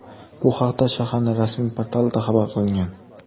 Bu haqda shaharning rasmiy portalida xabar qilingan .